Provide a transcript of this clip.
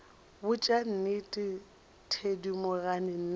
botša nnete thedimogane nna ga